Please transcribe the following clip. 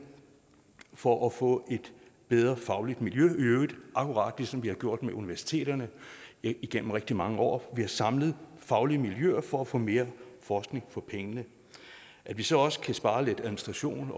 for at få et bedre fagligt miljø i øvrigt akkurat ligesom vi har gjort med universiteterne igennem rigtig mange år vi har samlet faglige miljøer for at få mere forskning for pengene at vi så også kan spare lidt administration